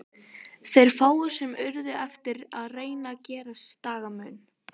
Þeir fáu sem urðu eftir reyndu að gera sér dagamun.